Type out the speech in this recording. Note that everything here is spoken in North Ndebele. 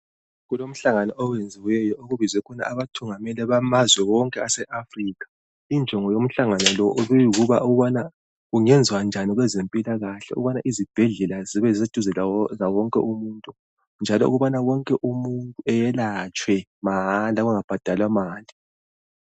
Kulomhlangano oyenziweyo okubizwe khona abathungameli bamazwe wonke ase Africa Injongo yomhlangano lo ibiyikuba ukubana kungenziwa njani kwezempilakahle Ukubana izibhedlela zibe duzane lawonke umuntu njalo ukubana wonke umuntu ayelatshwe mahala bangabhadalwa mali